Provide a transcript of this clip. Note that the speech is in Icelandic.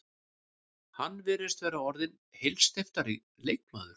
Hann virðist vera orðinn heilsteyptari leikmaður.